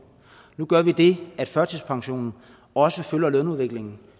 nu gør vi det at førtidspensionen også følger lønudviklingen